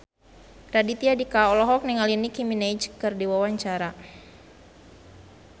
Raditya Dika olohok ningali Nicky Minaj keur diwawancara